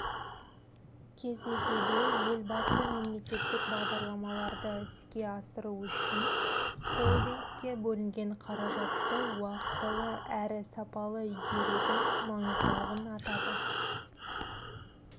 кездесуде елбасы мемлекеттік бағдарламаларды іске асыру үшін холдингке бөлінген қаражатты уақтылы әрі сапалы игерудің маңыздылығын атады